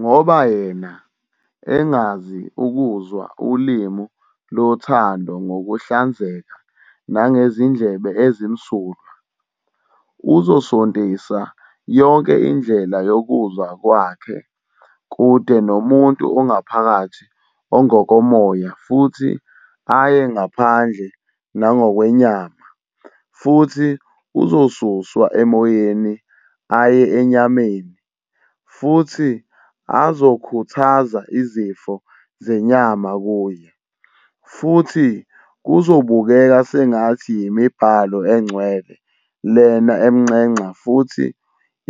Ngoba yena, engazi ukuzwa ulimi lothando ngokuhlanzeka nangezindlebe ezimsulwa, uzosontisa yonke indlela yokuzwa kwakhe kude nomuntu ongaphakathi ongokomoya futhi aye ngaphandle nangokwenyama, futhi uzosuswa emoyeni aye enyameni, futhi azokhuthaza izifiso zenyama kuye, futhi kuzobukeka sengathi yimiBhalo Engcwele lena emnxenxa futhi